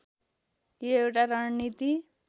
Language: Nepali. यो एउटा रणनीति